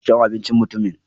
Ina sha'awar amincin mutumin.